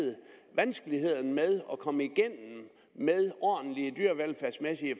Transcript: vanskeligheder med at komme igennem med ordentlige dyrevelfærdsmæssige